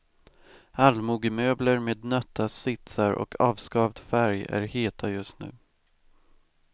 Allmogemöbler med nötta sitsar och avskavd färg är heta just nu.